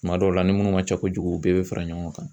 Tuma dɔw la ni munnu ma ca kojugu u bɛɛ bɛ fara ɲɔgɔn kan.